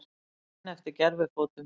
Bíða enn eftir gervifótum